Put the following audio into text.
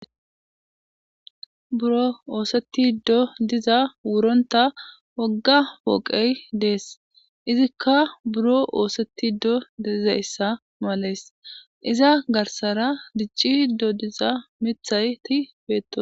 buro ooseti do diza wuronta wogga pooqey dees izikka buro ooseti do dezayssa malees iza garsara dicci do diza mithay ti beeto